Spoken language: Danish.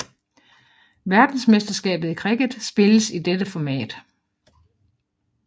Verdensmesterskabet i cricket spilles i dette format